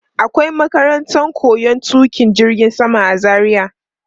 Akwai makarantar koyon tuƙa jirgin sama a Zaria.